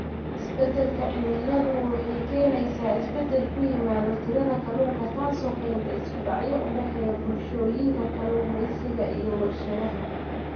Isbeddelka cimiladu waxay keenaysaa isbeddel ku yimaada tirada kalluunka, taasoo keenta isku dhacyo u dhexeeya bulshooyinka kalluumeysiga iyo warshadaha.